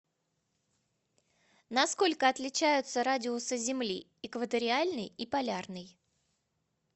на сколько отличаются радиусы земли экваториальный и полярный